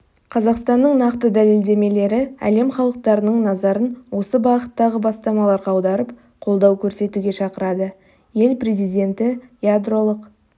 қазақстанның нақты дәлелдемелері әлем халықтарының назарын осы бағыттағы бастамаларға аударып қолдау көрсетуге шақырады ел президенті ядролық